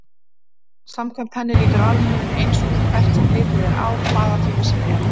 Samkvæmt henni lítur alheimurinn eins út hvert sem litið er á hvaða tíma sem er.